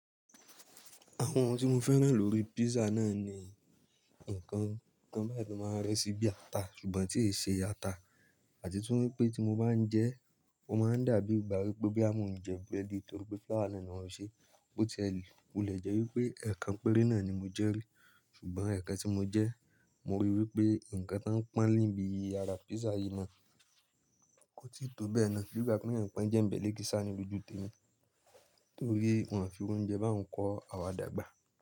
Àwọn ohun tí mo fẹ́ràn lórí písà náà ni ǹkan, ǹkan báyìí tó máa ń re sí bí ata ṣùgbọ́n tí e ṣe ata àti tún wípé tí mo bá ń jẹ́, ó máa ń dàbí ìgbà wípé boya mo ń jẹ búrẹ́dì torí pé flour náà ni wón fi ṣe, ó ti ẹ lù. Wu le jẹ́ wípé ẹ̀ẹ̀kan péré náà ni mo jẹ́ rí ṣùgbọ́n ẹ̀ẹ̀kan tí mo jẹ́, mo rí i wípé ǹkan ta ń pọnlé bi àrá písà yìí náà kò tíì tó bẹ́ẹ̀ náà bí ìgbà pe eeyan pọ́n ń jẹ́nbe lekisa ní lojú tèmi torí wọn fi iru oúnjẹ bá uń kọ́ àwa dàgbà.